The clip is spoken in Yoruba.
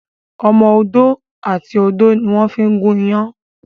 Ọmọ ọdọ àti odo ní wón fí gun iyán.